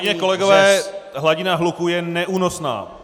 Kolegyně, kolegové, hladina hluku je neúnosná.